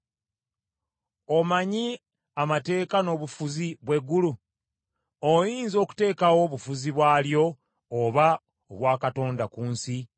Omanyi amateeka n’obufuzi bw’eggulu? Oyinza okuteekawo obufuzi bw’alyo oba obwa Katonda ku nsi?